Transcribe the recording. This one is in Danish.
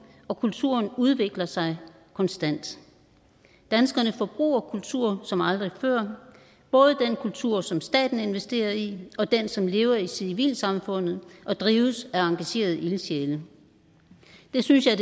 og kulturen udvikler sig konstant danskerne forbruger kultur som aldrig før både den kultur som staten investerer i og den som lever i civilsamfundet og drives af engagerede ildsjæle det synes jeg